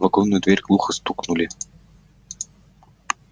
в вагонную дверь глухо стукнули